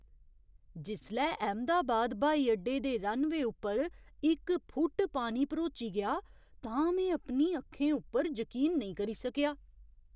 जिसलै अहमदाबाद ब्हाई अड्डे दे रनवेऽ उप्पर इक फुट्ट पानी भरोची गेआ तां में अपनी अक्खें उप्पर जकीन नेईं करी सकेआ।